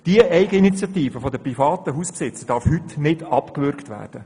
Diese Eigeninitiative der Hausbesitzer darf heute nicht abgewürgt werden.